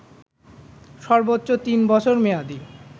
সর্বোচ্চ তিন বছর মেয়াদি